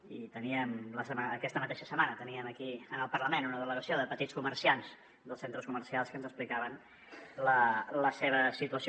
i aquesta mateixa setmana teníem aquí al parlament una delegació de petits comerciants dels centres comercials que ens explicaven la seva situació